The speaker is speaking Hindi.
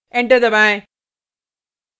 एंटर दबाएँ